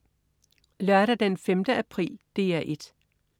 Lørdag den 5. april - DR 1: